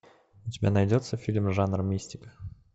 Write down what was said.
у тебя найдется фильм жанр мистика